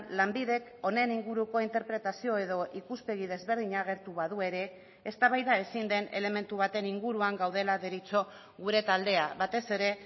lanbidek honen inguruko interpretazio edo ikuspegi desberdina agertu badu ere eztabaida ezin den elementu baten inguruan gaudela deritzo gure taldea batez ere